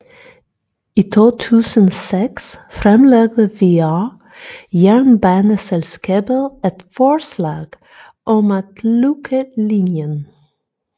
I 2006 fremlagde VR jernbaneselskabet et forslag om at lukke linjen